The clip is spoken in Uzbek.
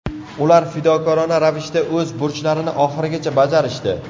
Ular fidokorona ravishda o‘z burchlarini oxirigacha bajarishdi.